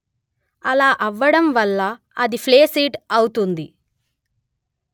అలా అవ్వడం వల్ల అది ఫ్లేసిడ్ అవుతుంది